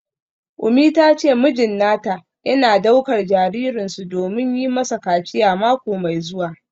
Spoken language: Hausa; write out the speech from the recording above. Umi ta ce mijin nata yana daukar jaririnsu domin yi masa kaciya mako mai zuwa.